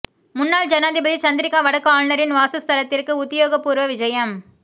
முன்னாள் ஜனாதிபதி சந்திரிக்கா வடக்கு ஆளுநரின் வாசஸ்தலத்திற்கு உத்தியோகபூர்வ விஜயம்